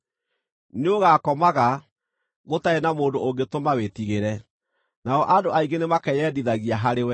Nĩũgakomaga, gũtarĩ na mũndũ ũngĩtũma wĩtigĩre, nao andũ aingĩ nĩmakeyendithagia harĩ we.